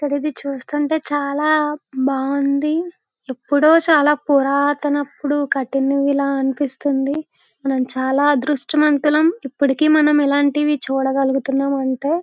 ఇది చూస్తుంటే చాలా బాగుంది ఎప్పుడో చాలా పురాతన అప్పుడు కత్తినిలా అనిపిస్తుంది మనం చాల అర్ధుష్ట మంతులం ఇప్పటికి మనం ఇలాంటివి చూడగలుగుతున్నాం అంటే